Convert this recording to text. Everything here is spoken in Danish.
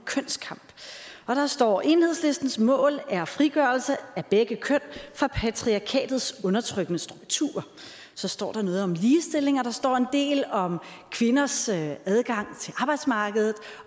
kønskamp og der står enhedslistens mål er frigørelse af begge køn fra patriarkatets undertrykkende strukturer så står der noget om ligestilling og der står en del om kvinders adgang til arbejdsmarkedet